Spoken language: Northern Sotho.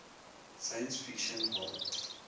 science fiction hall